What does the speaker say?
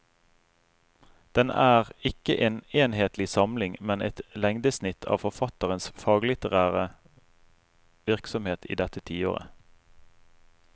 Den er ikke en enhetlig samling, men et lengdesnitt av forfatterens faglitterære virksomhet i dette tiåret.